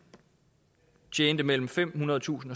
tjente mellem femhundredetusind